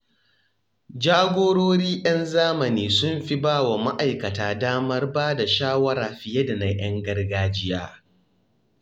Jagorori 'yan zamani sun fi ba wa ma’aikata damar bada shawara fiye da 'yan gargajiya.